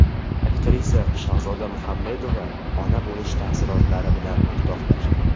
Aktrisa Shahzoda Muhammedova ona bo‘lish taassurotlari bilan o‘rtoqlashdi.